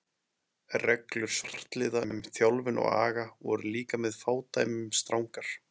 Reglur svartliða um þjálfun og aga voru líka með fádæmum strangar.